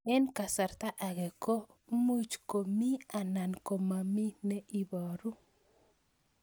Eng' kasarta ag'e ko much ko mii anan komamii ne ibaru